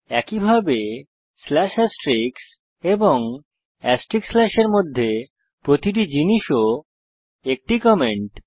একইভাবে slash asterisk এবং asterisk স্ল্যাশের মধ্যের প্রতিটি জিনিস ও একটি কমেন্ট